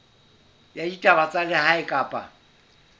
ya ditaba tsa lehae kapa